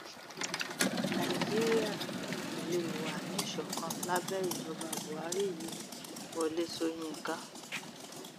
nàìjíríà ò lè wà níṣọkan lábẹ ìjọba buhari yìí wọlé sọyìnkà